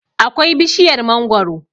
akwai bishiyar mangoro